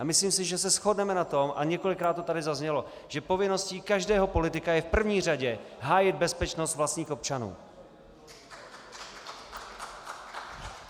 A myslím si, že se shodneme na tom, a několikrát to tady zaznělo, že povinností každého politika je v první řadě hájit bezpečnost vlastních občanů.